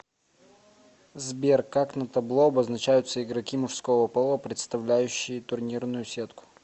сбер как на табло обозначаются игроки мужского пола представляющие турнирную сетку